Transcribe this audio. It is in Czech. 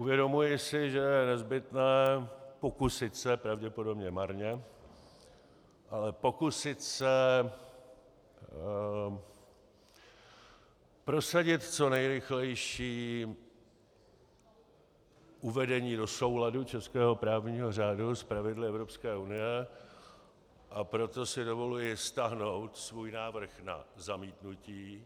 Uvědomuji si, že je nezbytné pokusit se, pravděpodobně marně, ale pokusit se prosadit co nejrychlejší uvedení do souladu českého právního řádu s pravidly Evropské unie, a proto si dovoluji stáhnout svůj návrh na zamítnutí